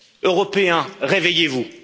Européens, réveillez vous!